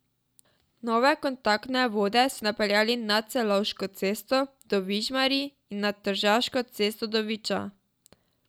Nove kontaktne vode so napeljali nad Celovško cesto do Vižmarij in nad Tržaško cesto do Viča.